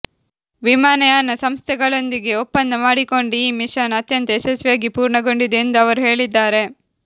ವಿಮಾನಯಾನ ಸಂಸ್ಥೆಗಳೊಂದಿಗೆ ಒಪ್ಪಂದ ಮಾಡಿಕೊಂಡು ಈ ಮಿಷನ್ ಅತ್ಯಂತ ಯಶಸ್ವಿಯಾಗಿ ಪೂರ್ಣಗೊಂಡಿದೆ ಎಂದು ಅವರು ಹೇಳಿದ್ದಾರೆ